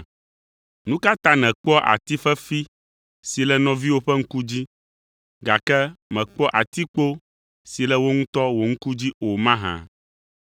“Nu ka ta nèkpɔa ati fefi si le nɔviwò ƒe ŋku dzi, gake mèkpɔa atikpo si le wò ŋutɔ wò ŋku dzi o mahã?